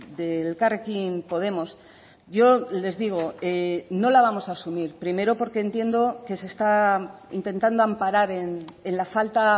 de elkarrekin podemos yo les digo no la vamos a asumir primero porque entiendo que se está intentando amparar en la falta